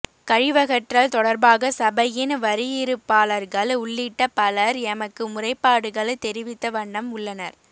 கழிவகற்றல் தொடர்பாக சபையின் வரியிறுப்பாளர்கள் உள்ளிட்ட பலர் எமக்கு முறைப்பாடுகள் தெரிவித்த வண்ணம் உள்ளனர்